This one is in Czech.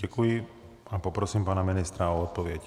Děkuji a poprosím pana ministra o odpověď.